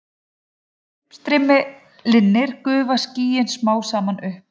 Þegar uppstreymi linnir gufa skýin smám saman upp.